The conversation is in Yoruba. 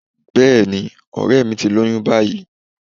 Bẹ́ẹ̀ni, ọ̀rẹ́ẹ̀ mi ti lóyún báyìí.